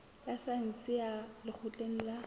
ya saense ya lekgotleng la